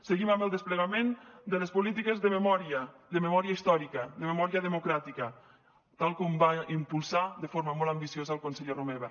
seguim amb el desplegament de les polítiques de memòria de memòria històrica de memòria democràtica tal com va impulsar de forma molt ambiciosa el conseller romeva